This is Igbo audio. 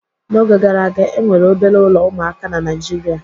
N'oge gara aga, e nwere obere ụlọ ụmụaka na Naịjirịa